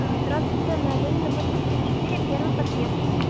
а здравствуйте на ленина восемьдесят четыре первый подъезд